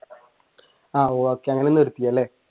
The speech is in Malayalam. ആഹ് okay അങ്ങനെ നിർത്തിയല്ലേ?